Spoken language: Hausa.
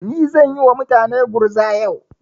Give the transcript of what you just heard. Ni zan yi wa mutane gurza yau.